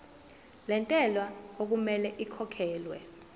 lentela okumele ikhokhekhelwe